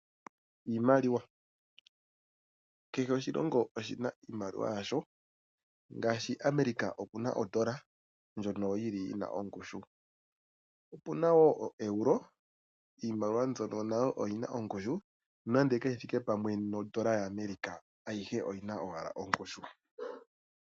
Iimaliwa. Kehe oshilongo oshi na iimaliwa yasho, ngaashi America oku na Odola, ndjono yi li yi na ongushu. Opu na wo oEuro, iimaliwa mbyono nayo oyi na ongushu, nonando kayi thike pamwe nodola yaAmerica, ayihe oyi na owala ongushu.